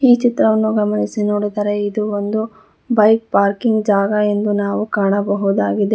ಈ ಚಿತ್ರವನ್ನು ಗಮನಿಸಿ ನೋಡಿದರೆ ಇದು ಒಂದು ಬೈಕ್ ಪಾರ್ಕಿಂಗ್ ಜಾಗ ಎಂದು ನಾವು ಕಾಣಬಹುದಾಗಿದೆ.